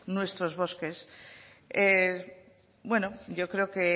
nuestros bosques bueno yo creo que